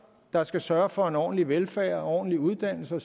der skal sørge for en ordentlig velfærd en ordentlig uddannelse